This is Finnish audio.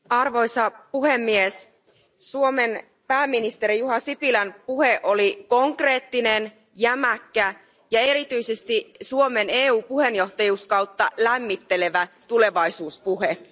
Arvoisa puhemies, Suomen pääministerin Juha Sipilän puhe oli konkreettinen, jämäkkä ja erityisesti Suomen EU puheenjohtajuuskautta lämmittelevä tulevaisuuspuhe.